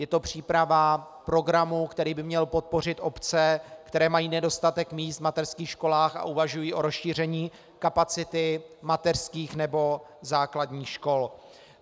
Je to příprava programu, který by měl podpořit obce, které mají nedostatek míst v mateřských školách a uvažují o rozšíření kapacity mateřských nebo základních škol.